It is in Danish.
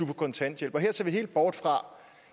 på kontanthjælp og her ser vi helt bort fra